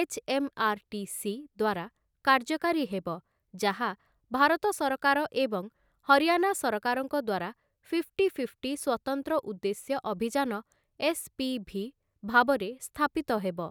HMRTC. ଦ୍ୱାରା କାର୍ଯ୍ୟକାରୀ ହେବ, ଯାହା ଭାରତ ସରକାର ଏବଂ ହରିୟାନା ସରକାରଙ୍କ ଦ୍ୱାରା ଫିଫ୍ଟି ଫିଫ୍ଟି ସ୍ୱତନ୍ତ୍ର ଉଦ୍ଦେଶ୍ୟ ଅଭିଯାନ ଏସ୍‌.ପି.ଭି. ଭାବରେ ସ୍ଥାପିତ ହେବ ।